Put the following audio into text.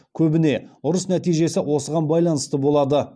көбіне ұрыс нәтижесі осыған байланысты болады